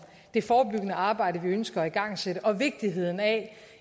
det forebyggende arbejde vi ønsker at igangsætte og vigtigheden af